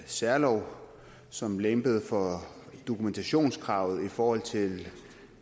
særlov som lempede for dokumentationskravet i forhold til